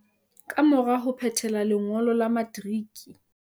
Kamora ho phethela lengo lo la materiki